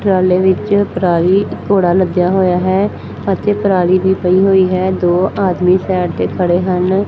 ਟਰਾਲੇ ਵਿੱਚ ਪਰਾਲੀ ਘੋੜਾ ਲੱਗਿਆ ਹੋਇਆ ਹੈ ਅਤੇ ਪਰਾਲੀ ਦੀ ਪਈ ਹੋਈ ਹੈ ਦੋ ਆਦਮੀ ਸਾਈਡ ਤੇ ਖੜੇ ਹਨ।